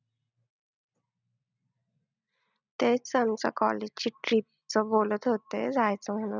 तेच आमच्या college ची trip चं बोलत होते, जायचं म्हणून